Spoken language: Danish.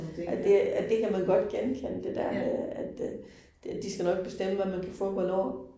Ja det, ja det kan man godt genkende det der med, at øh de skal nok bestemme, hvad man kan få hvornår